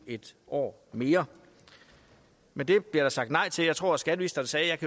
et år mere men det bliver der sagt nej til jeg tror skatteministeren sagde at